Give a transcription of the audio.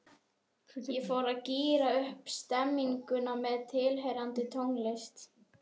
Ég fór í að gíra upp stemninguna með tilheyrandi tónlist.